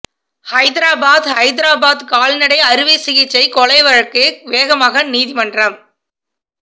ஹைதராபாத் ஹைதராபாத் கால்நடை அறுவை சிகிச்சை கொலை வழக்கு வேகமாக நீதிமன்றம்